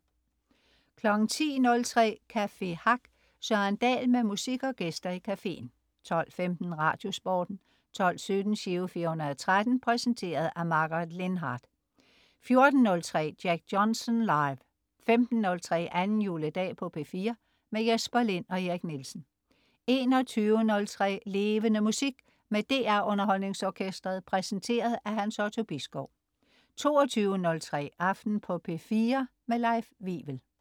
10.03 Café Hack. Søren Dahl med musik og gæster i cafeen 12.15 Radiosporten 12.17 Giro 413. Præsenteret af Margaret Lindhardt 14.03 Jack Johnson live 15.03 Anden juledag på P4. Jesper Lind og Erik Nielsen 21.03 Levende Musik. Med DR UnderholdningsOrkestret. Præsenteret af Hans Otto Bisgaard 22.03 Aften på P4. Leif Wivel